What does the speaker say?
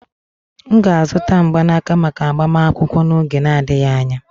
M ga-azụta mgbanaka maka agbamakwụkwọ n'oge n'adịghị anya.